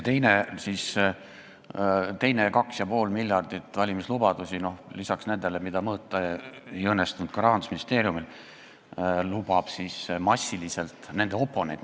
Teise 2,5 miljardi eest valimislubadusi – lisaks nendele, mida ka Rahandusministeeriumil mõõta ei õnnestunud – on nende oponendil.